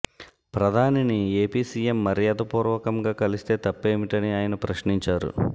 ప్రధానిని AP CM మర్యాదపూర్వకంగా కలిస్తే తప్పేమిటని ఆయన ప్రశ్నించారు